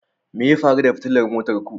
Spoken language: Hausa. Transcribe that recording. Me ya faru da fitilar motar ku